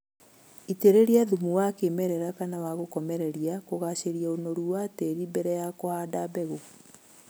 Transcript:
Itĩrĩria thumu wa kĩmerera kana wa gũkomereria kugacĩria ũnoru wa tĩri mbere ya kũhanda mbegũ